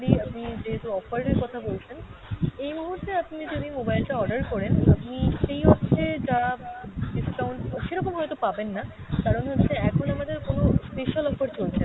আপনি যেহেতু offer এর কথা বলছেন, এই মুহূর্তে আপনি যদি mobile টা order করেন আপনি সেই অর্থে যা discount সেরকম হয়তো পাবেন না, কারণ হচ্ছে এখন আমাদের কোনো special offer চলছে না।